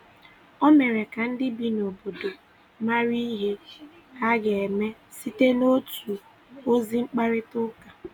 Ọ mere ka ndị bi n’obodo marà ihe ha ga-eme site n’otu ozi mkparịta ụka.